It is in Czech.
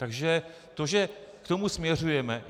Takže to, že k tomu směřujeme...